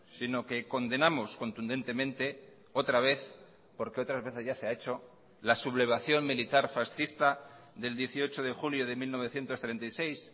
sino que condenamos contundentemente otra vez porque otras veces ya se ha hecho la sublevación militar fascista del dieciocho de julio de mil novecientos treinta y seis